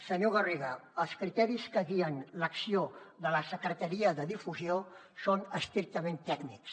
senyor garriga els criteris que guien l’acció de la secretaria de difusió són estrictament tècnics